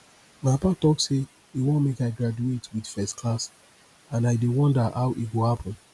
my papa talk say he wan make i graduate with first class and i dey wonder how e go happen